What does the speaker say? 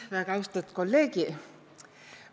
Väega austet kolleegi!